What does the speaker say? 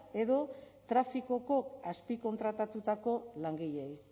edo trafikoko azpikontratatutako langileei